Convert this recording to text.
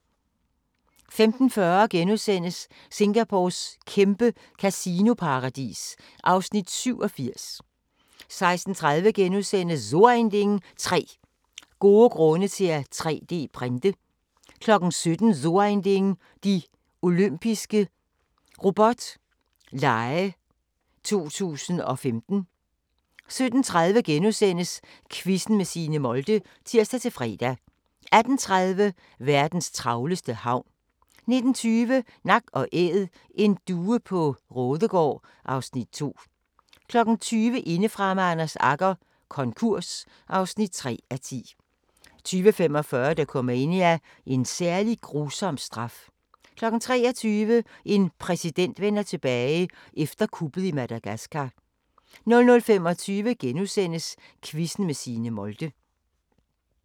15:40: Singapores kæmpe kasinoparadis (Afs. 87)* 16:30: So ein Ding: 3 gode grunde til at 3D-printe * 17:00: So ein Ding: De Olympiske Robot Lege 2015 17:30: Quizzen med Signe Molde *(tir-fre) 18:30: Verdens travleste havn 19:20: Nak & Æd: En due på Raadegaard (Afs. 2) 20:00: Indefra med Anders Agger - konkurs (3:10) 20:45: Dokumania: En særlig grusom straf 23:00: En præsident vender tilbage – efter kuppet i Madagaskar 00:25: Quizzen med Signe Molde *